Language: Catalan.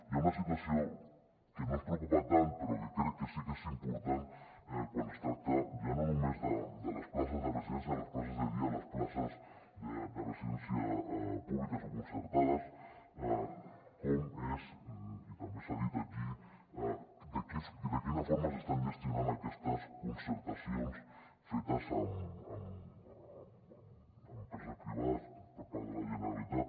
hi ha una situació que no ens preocupa tant però que crec que sí que és impor·tant quan es tracta ja no només de les places de residències de les places de dia les places de residència públiques o concertades com és i també s’ha dit aquí de qui·na forma s’estan gestionant aquestes concertacions fetes amb empreses privades per part de la generalitat